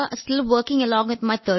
താങ്കളുടെ ജോലി എങ്ങനെ പോകുന്നു